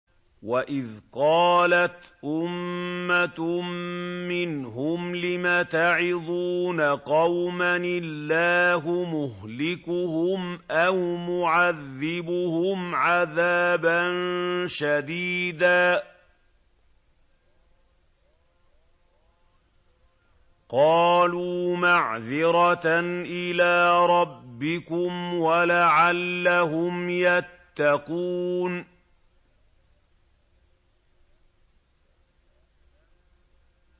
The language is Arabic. وَإِذْ قَالَتْ أُمَّةٌ مِّنْهُمْ لِمَ تَعِظُونَ قَوْمًا ۙ اللَّهُ مُهْلِكُهُمْ أَوْ مُعَذِّبُهُمْ عَذَابًا شَدِيدًا ۖ قَالُوا مَعْذِرَةً إِلَىٰ رَبِّكُمْ وَلَعَلَّهُمْ يَتَّقُونَ